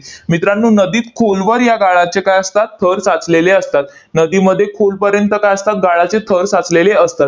मित्रांनो, नदीत खोलवर या गाळाचे काय असतात? थर साचलेले असतात, नदीमध्ये खोलपर्यंत काय असतात? गाळाचे थर साचलेले असतात.